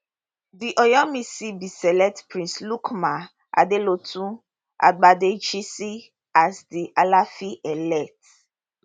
di oyomesi bin select prince lukman adelodun gbadegesin as di alaafinelect